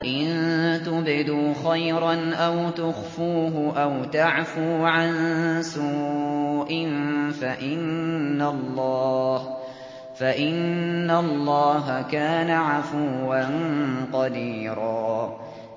إِن تُبْدُوا خَيْرًا أَوْ تُخْفُوهُ أَوْ تَعْفُوا عَن سُوءٍ فَإِنَّ اللَّهَ كَانَ عَفُوًّا قَدِيرًا